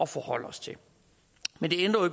forholde os til men